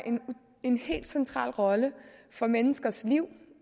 en helt central rolle for menneskers liv